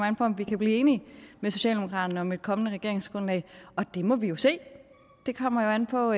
an på om vi kan blive enige med socialdemokraterne om et kommende regeringsgrundlag det må vi jo se det kommer an på